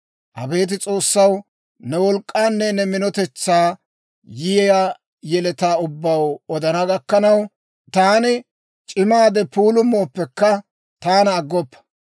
Abeet S'oossaw, ne wolk'k'aanne ne minotetsaa, yiyaa yeletaa ubbaw odana gakkanaw, taani c'imaade puulummooppekka taana aggoppa.